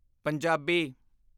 Punjabi